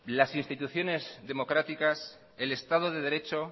las instituciones democráticas el estado de derecho